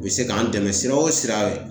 U bɛ se k'an dɛmɛ sira o sira